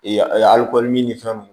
Ee alikolini ni fɛnw